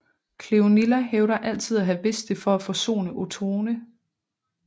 Cleonilla hævder altid at have vidst det for at forsone Ottone